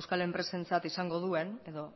euskal enpresentzat izango duen edo